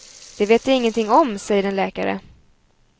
Det vet jag ingenting om, säger en läkare.